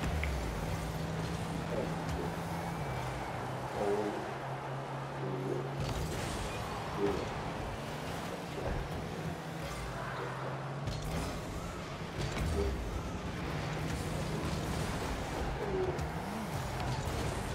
Abidzo nʋ ɔwʋlu ɔya Itala, ɔkpala nʋ dzakali ɔya adʋ bɔta wɛ li